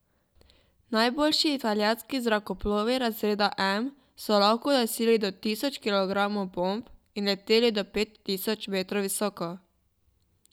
Najboljši italijanski zrakoplovi razreda M so lahko nosili do tisoč kilogramov bomb in leteli do pet tisoč metrov visoko.